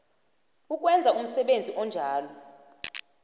ukwenza umsebenzi onjalo